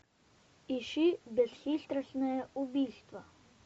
ищи бесхитростное убийство